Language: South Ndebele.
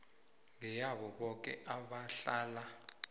ngeyabo boke abahlala